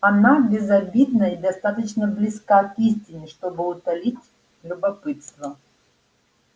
она безобидна и достаточно близка к истине чтобы утолить любопытство